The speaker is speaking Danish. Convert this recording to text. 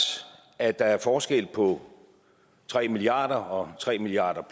at der er forskel på tre milliard kroner og tre milliard